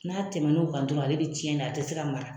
N'a tɛmɛn'o kan dɔrɔn ale bɛ tiɲɛ a tɛ se ka mara